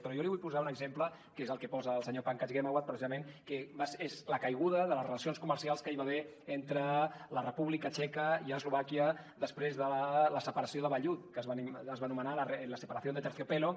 però jo li vull posar un exemple que és el que posa el senyor pankaj ghemawat precisament que és la caiguda de les relacions comercials que hi va haver entre la república txeca i eslovàquia després de la separació de vellut que es va anomenar la separación de terciopelo